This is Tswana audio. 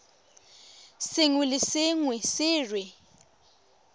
sengwe le sengwe se re